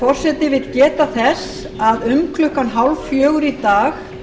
forseti vill geta þess að um klukkan þrjú þrjátíu í dag